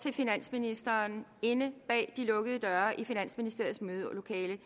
til finansministeren inde bag de lukkede døre i finansministeriets mødelokale